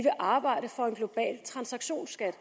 arbejde for en global transaktionsskat